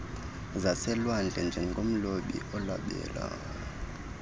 zaselwandle njengomlobi olobela